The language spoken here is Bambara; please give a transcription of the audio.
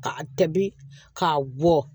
Ka a tɛbi k'a bɔ